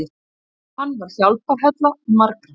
Hann var hjálparhella margra.